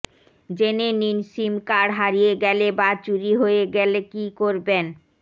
জেনে নিন sim card হারিয়ে গেলে বা চুরি হয়ে গেলে কী করবেন